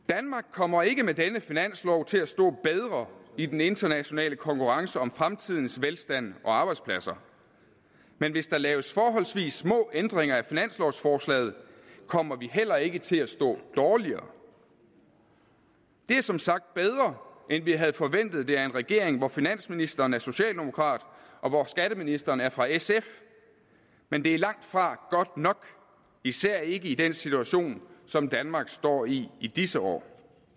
kommer ikke med denne finanslov til at stå bedre i den internationale konkurrence om fremtidens velstand og arbejdspladser men hvis der laves forholdsvis små ændringer af finanslovforslaget kommer vi heller ikke til at stå dårligere det er som sagt bedre end vi havde forventet det af en regering hvor finansministeren er socialdemokrat og hvor skatteministeren er fra sf men det er langtfra godt nok især ikke i den situation som danmark står i i disse år